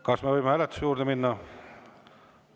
Kas me võime hääletuse juurde minna?